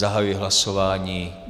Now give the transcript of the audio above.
Zahajuji hlasování.